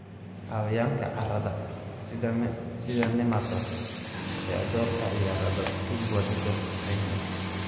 Xayawaanka carrada, sida nematodes, ayaa door ka ciyaara baaskiil wadida nafaqeynta.